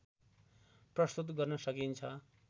प्रस्तुत गर्न सकिन्छ